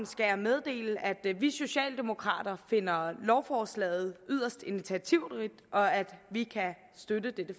skal jeg meddele at vi socialdemokrater finder lovforslaget yderst initiativrigt og at vi kan støtte dette